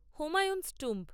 Humayun's tomb